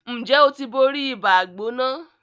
Njé o tí bóri Ibàá-gbóná?